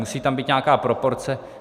Musí tam být nějaká proporce.